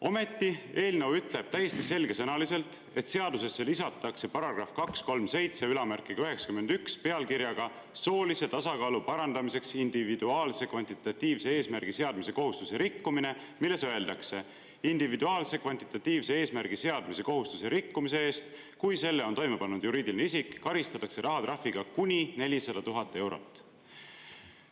" Ometi ütleb eelnõu täiesti selgesõnaliselt, et seadusesse lisatakse paragrahv 23791 pealkirjaga "Soolise tasakaalu parandamiseks individuaalse kvantitatiivse eesmärgi seadmise kohustuse rikkumine", milles öeldakse: individuaalse kvantitatiivse eesmärgi seadmise kohustuse rikkumise eest, kui selle on toime pannud juriidiline isik, karistatakse rahatrahviga kuni 400 000 eurot.